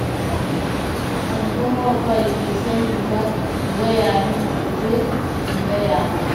In kuma ba ki sani ba, ki gaya min in je in gaya masa.